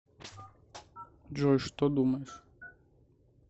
джой что думаешь